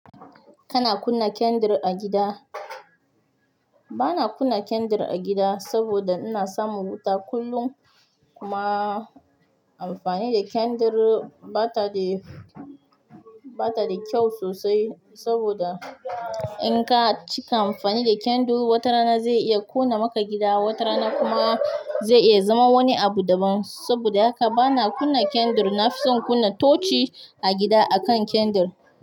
Kana kunna kendir a gida? Bana kunna kendir a gida saboda ina samun wuta kullum. Kuma amfani kendir bata de bata da kyau sosai saboda inka cika amfani da kendir watarana zai iya ƙona maka gida wata rana zai iya zama wani abu daban saboda haka bana kunna kandir. Nafison kunna tochi a gida akan kandir.